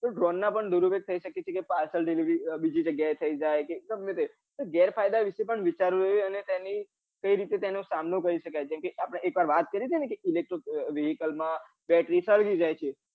તો drown પણ દુરુપયોગ થઇ શકે છે કે parcel delivery બીજી જગ્યાય થઇ જાય ગમેતે તે ગેરફાયદા વિશે પન વિચારવું જોઈએ અને તેની કઈ રીતે તેનો સામનો કરી શકાય જેમ કે આપડે એકમવાર વાત કરી ટી ને electro vehicles માં બેટરી સળગી જાય છે